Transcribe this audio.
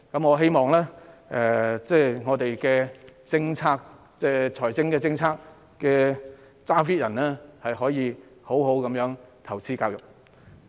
我希望我們的財政決策者可以好好地投資教育。